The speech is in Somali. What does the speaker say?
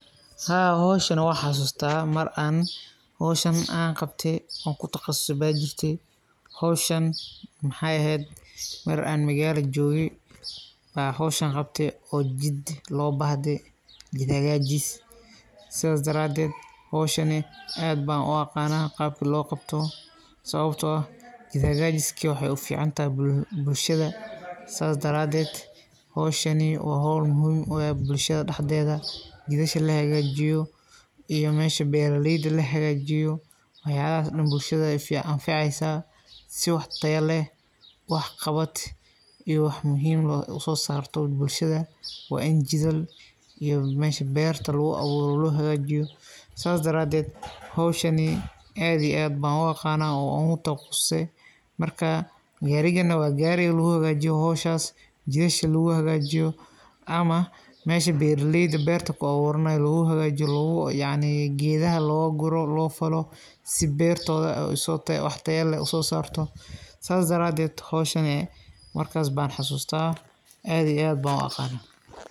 Haa howshan waa xasusta mar aan kabtey oo kutaqasusey ano maqal jogee aan howshan kabtey oo jiid hakajis lobahtey sidhas dareed howshan aad baan uaqana sidha lokabto sababto eh jiidka wanagsan waxay uficantahay bulshada, sidhokale howshan waxay uficantahay beeraleyda sii aay wax tayaleh usosaran, howshan aad ba uu xasuusta aad iyo aad ban uu aqana.